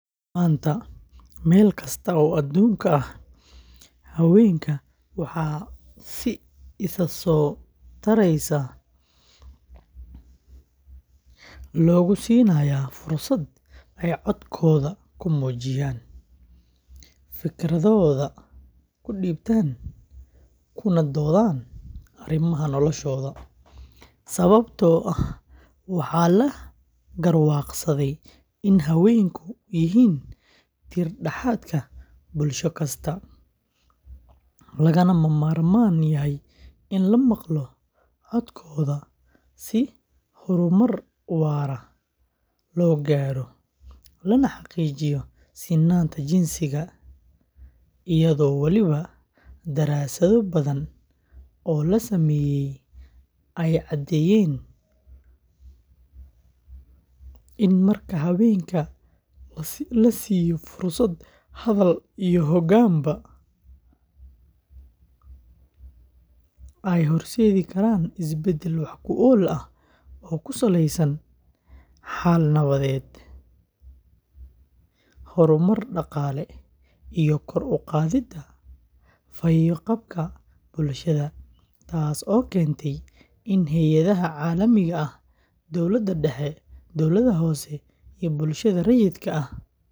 Maanta, meel kasta oo adduunka ah, haweenka waxaa si isa soo taraysa loogu siinayaa fursad ay codkooda ku muujiyaan, fikirkooda ku dhiibtaan, kuna doodaan arrimaha noloshooda, sababtoo ah waxaa la garwaaqsaday in haweenku yihiin tiir dhexaadka bulsho kasta, lagana ma maarmaan yahay in la maqlo codkooda si horumar waara loo gaaro, lana xaqiijiyo sinnaanta jinsiga, iyadoo weliba daraasado badan oo la sameeyay ay caddeeyeen in marka haweenka la siiyo fursad hadal iyo hoggaanba, ay horseedi karaan isbeddel wax ku ool ah oo ku saleysan xal nabadeed, horumar dhaqaale, iyo kor u qaadidda fayo-qabka bulshada, taasoo keentay in hay’adaha caalamiga ah, dowladda dhexe, dawladaha hoose, iyo bulshada rayidka ah.